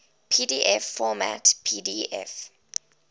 pdf format pdf